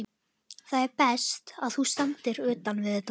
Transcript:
Það er best, að þú standir utan við þetta.